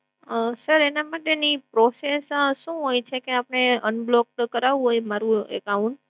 અમ sir, એના માટેની process શું હોય છે કે આપણે unblock તો કરાવવું હોય મારુ account?